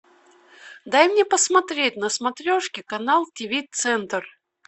дай мне посмотреть на смотрешке канал тв центр